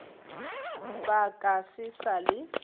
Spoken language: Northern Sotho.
ba ka se sa le